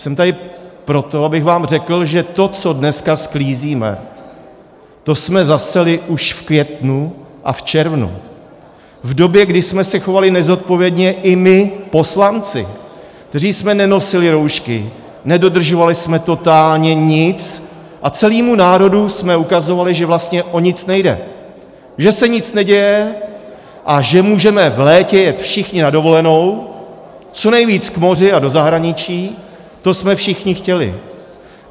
Jsem tady proto, abych vám řekl, že to, co dneska sklízíme, to jsme zaseli už v květnu a v červnu, v době, kdy jsme se chovali nezodpovědně i my poslanci, kteří jsme nenosili roušky, nedodržovali jsme totálně nic a celému národu jsme ukazovali, že vlastně o nic nejde, že se nic neděje a že můžeme v létě jet všichni na dovolenou, co nejvíc k moři a do zahraničí, to jsme všichni chtěli.